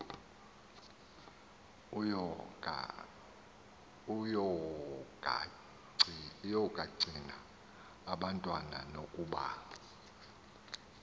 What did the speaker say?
yokagcina abantwana nokuba